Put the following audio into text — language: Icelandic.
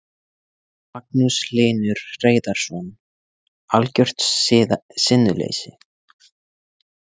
Magnús Hlynur Hreiðarsson: Algjört sinnuleysi?